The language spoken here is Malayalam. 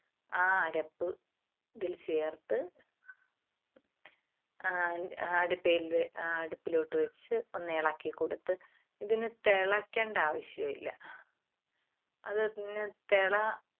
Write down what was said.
ആ അരപ്പ് ഇതിൽ ചേർത്ത് ആ അടുപ്പേല് അടുപ്പിലോട്ട് വെച്ച് ഒന്നിളക്കി കൊടുത്ത് ഇതിന് തിളക്കണ്ട ആവശ്യമില്ല. അതിന് തിള